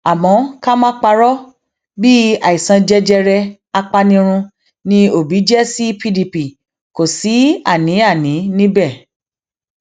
àmọ ká má parọ bíi àìsàn jẹjẹrẹ apanirun ni òbí jẹ sí pdp kò sí àníàní níbẹ